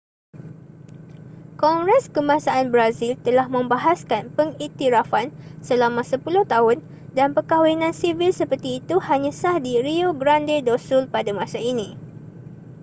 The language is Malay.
kongres kebangsaan brazil telah membahaskan pengiktirafan selama 10 tahun dan perkahwinan sivil seperti itu hanya sah di rio grande do sul pada masa ini